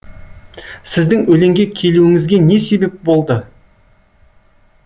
сіздің өлеңге келуіңізге не себеп болды